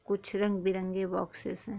कुछ रंग- बिरंगे बॉक्सेस हैं।